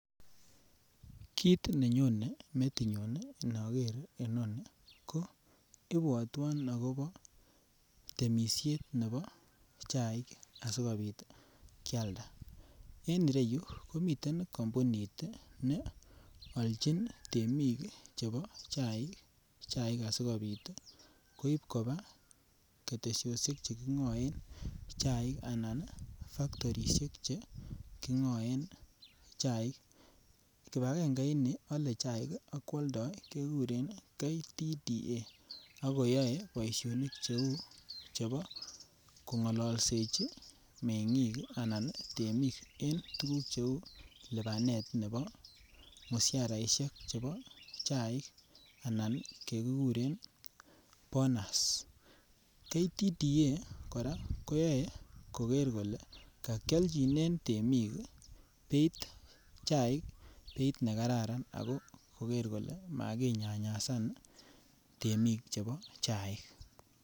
Kit nenyone metinyun inoker inoni ko ibwotwon akobo temishet nebo chaik asikopit Kialda. En ireyuu komiten kompunit tii ne olchin temik chebo chaik chaik asikopit koib koba keteshoshek chekingoen chaik ana factorishek che kingoen chaik. Kipangenge nii ole chaik ak kwoldo kekuren KTDA ak koyoe boishonik cheu chebo kongololsechi mekik ana temik en tukuk cheu lipanet nebo musharaishek chebo chaik anan chekikuren bonus KTDA Koraa koyoe koker kole kokioljinen temik beit chaik beit nekararan ako koker kole makinyanyasan temik chebo chaik.